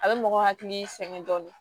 A bɛ mɔgɔ hakili sɛgɛn dɔɔnin